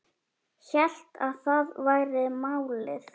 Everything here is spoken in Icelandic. Hélt að það væri málið.